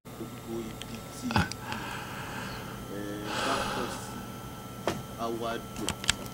gbogbo ibi tí igi um bá pọ̀ sí a wá dùn